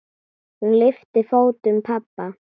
Hún lyftir fótum pabba.